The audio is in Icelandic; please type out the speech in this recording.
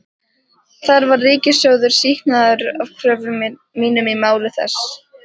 Þar var ríkissjóður sýknaður af kröfum mínum í máli þessu.